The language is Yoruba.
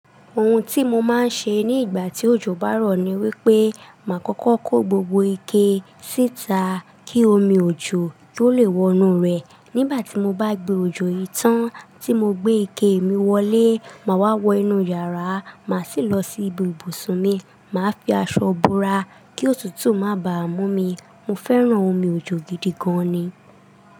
Ohun tí mo máa ń ṣe ní ìgbà tí òjò bá rọ̀ ni wípé, màá kókó kó gbogbo ike síta kí omi òjò tó lè wọ inú rẹ̀. Nigbatí mo bá gbé ojo yi i tán tí mo gbé ike mi wọlé máa wá wo inú yàrá máa sì lọ sí ibi ibusún mi máa fi aṣọ bora kí òtútù máa bá mumí. Mo fẹ́ràn omi òjò gidi gan ni.